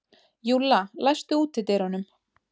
Júlla, læstu útidyrunum.